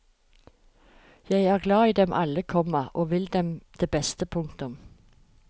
Jeg er glad i dem alle, komma og vil dem det beste. punktum